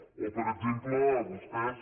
o per exemple vostès